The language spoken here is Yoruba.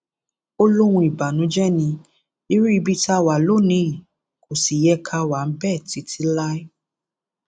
ó lóhun ìbànújẹ ní irú ibi tá a wà lónìí yìí kò sì yẹ ká wà bẹẹ títí láé